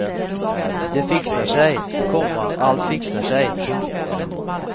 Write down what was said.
Det fixar sig, komma allt fixar sig. punkt